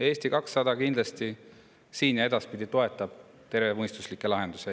Eesti 200 kindlasti ja edaspidi toetab tervemõistuslikke lahendusi.